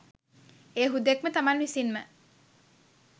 එය හුදෙක්ම තමන් විසින්ම